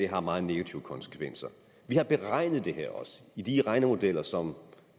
har meget negative konsekvenser vi har beregnet det her i de regnemodeller som